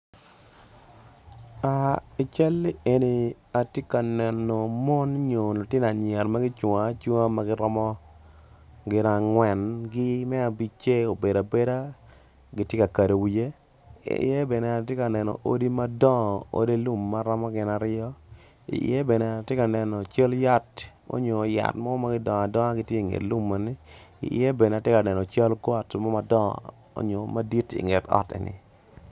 I cal eni atye ka neno mon lutino anyira ma gicungo acunga ma giromo gin angwen ki me abic-ce obedo abeda kitye ka kedo wiye iye ben atye ka neno odi madongo odi lum ma romo gin aryo iye bene tye ka nen cal yat nyo mo ma gidongo adonga tye inget lum eni iye bene atye ka neno cal got madongo nyo madit inget ot eni